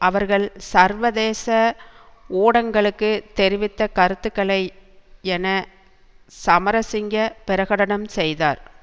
அவர்கள் சர்வதேச ஊடங்களுக்கு தெரிவித்த கருத்துக்கள் என சமரசிங்க பிரகடனம் செய்தார்